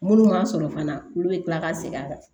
Munnu ma sɔrɔ fana olu bɛ kila ka segin a kan